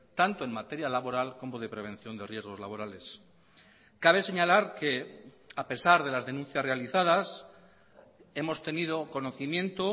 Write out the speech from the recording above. tanto en materia laboral como de prevención de riesgos laborales cabe señalar que a pesar de las denuncias realizadas hemos tenido conocimiento